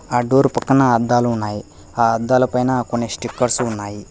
ఆ డోర్ పక్కన అద్దాలు ఉన్నాయి ఆ అద్దాల పైన కొన్ని స్టిక్కర్సు ఉన్నాయి.